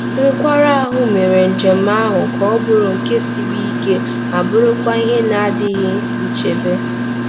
Nkwarụ ahụ mere njem ahụ ka ọ bụrụ nke siri ike ma bụrụkwa ihe na-adịghị nchebe.